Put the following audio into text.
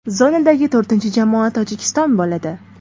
Zonadagi to‘rtinchi jamoa Tojikiston bo‘ladi.